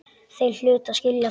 Þeir hlutu að skilja það.